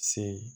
Se